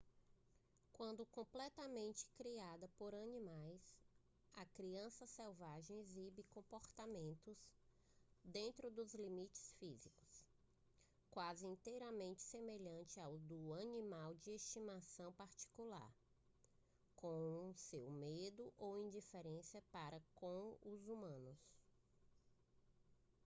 quando completamente criada por animais a criança selvagem exibe comportamentos dentro dos limites físicos quase inteiramente semelhantes aos do animal de estimação particular como seu medo ou indiferença para com os humanos